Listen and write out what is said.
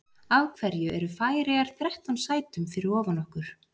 Af hverju eru Færeyjar þrettán sætum fyrir ofan okkur?